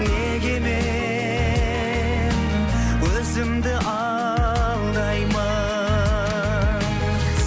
неге мен өзімді алдаймын